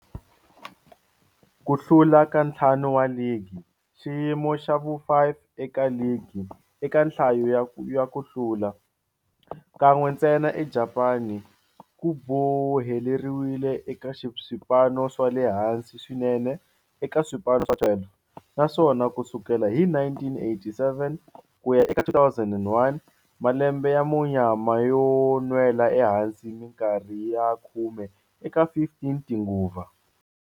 Ku hlula ka ntlhanu wa ligi, xiyimo xa vu-5 eka ligi eka nhlayo ya ku hlula, kan'we ntsena eJapani, ku boheleriwile eka swipano swa le hansi swinene eka swipano swa 12, naswona ku sukela hi 1987 ku ya eka 2001, malembe ya munyama yo nwela ehansi minkarhi ya khume eka 15 tinguva.